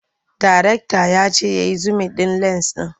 Darekta ya ce ya yi zumin ɗin lens ɗin.